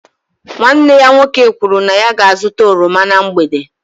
Nwanne ya nwoke kwuru na ya ga-azụta oroma na mgbede